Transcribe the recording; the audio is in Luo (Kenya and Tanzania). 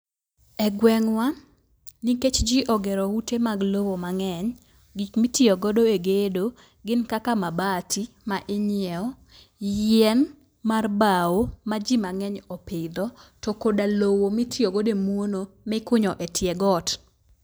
E gweng'wa nikech jii ogere ute mag lowo mang'eny, gik mitiyo godo e gedo gin kaka mabati ma ing'iewo, yien mar bawo ma jii mang'eny opidho to koda lowo mitiyo godo e muono mikunyo e tie got.